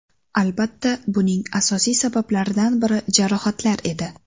Albatta, buning asosiy sabablaridan biri jarohatlar edi.